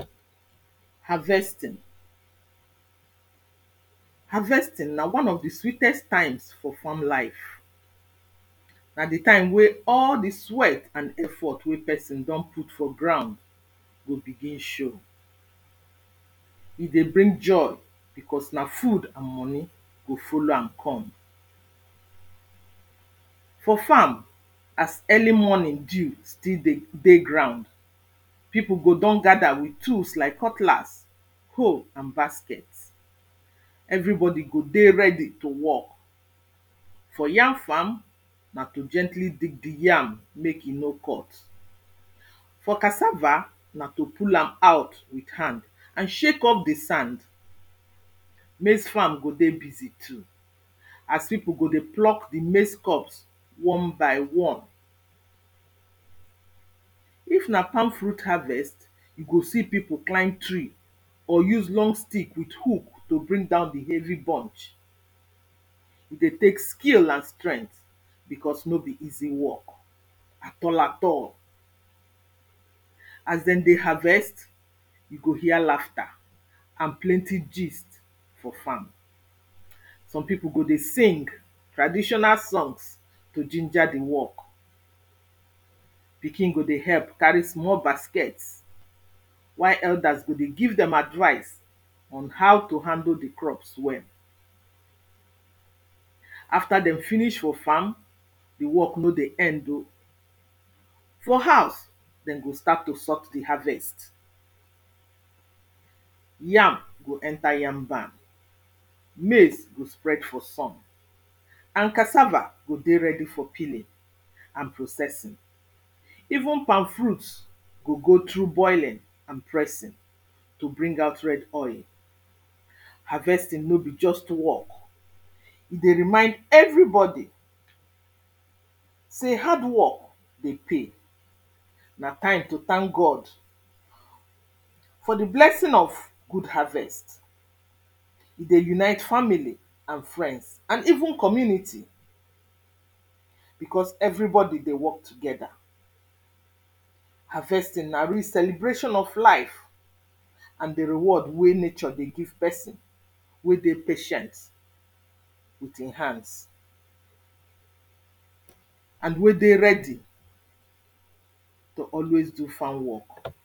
harvesting harvesting na one of di sweetest time for farm life na di time wey all di sweat and effort we pesin don put for groud dey begin show e dey bring joy bicos na food and moni go follow am come forfarm as early morning dew still de dey ground pipu go don gather with tools like cutlas hoe and basket everibodi godey ready to work for yam farm na to gently dig di yam mek e no cut for casava na to pull am out with hand and shake off di sand maize farm go dey busy too as pipu go dey pluck di maize cops one by one if na palmfruit harvest, you go see pipu climb tree or use long sticlk with hook to bring down di heavy bunch e dey tek skill and strength bicos no be easy work as dem dey harvest, you go hear laughter and plenty gist for farm some pipu go dey sing traditional songs to ginger di work pikin go dey help cari small basket while eldeers go dey give dem advise on how to handle di crops well after dem finish for farm di work no dey end o for house dem go start to sort di harvest yam go enter yam barn, maize go spread for sun and casava go dey redi for peeling and processing even palmfruit gogo through boiling and pressing to bring out red oil harvesting no be just work e dey remind everybodi sey hard work dey pay na time to thank God for di blessing of good harvest e dey unite family and friends and even community bicus everybodi dey work together harvesting na real celebration of life and di reward we nature dey give pesin we dey patient with in hands and wey dey ready to always do farm work